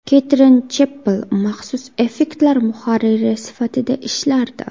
Ketrin Cheppell maxsus effektlar muharriri sifatida ishlardi.